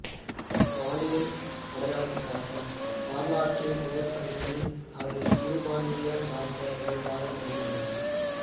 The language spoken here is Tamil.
பாலியல் அடையாளத்துக்கான வரலாற்றுநிலைப் படிமைகள் அதைச் சிறுபான்மையர் சார்ந்த நிகழ்வாகக் கருதுகிறது